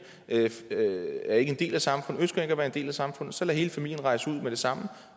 er ikke en del af samfundet og ønsker ikke at være en del af samfundet så lad hele familien rejse ud med det samme